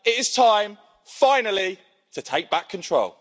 It is time finally to take back control.